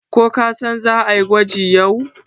kun san za a yi gwaji yau?